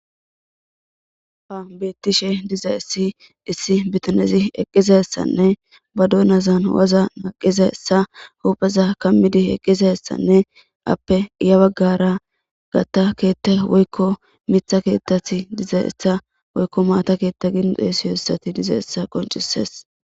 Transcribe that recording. Ha bettishe dizzaysi issi biitanezi eqqidayssanne ba doonazan waaza naqqidaysa ba huphphe kaamidi eqqidayssanne aappe guye baggera maata keththe woykko miththa keththeti dizayss a woykko maata keththa giidi xeysiyayssati diizaysa qonccises.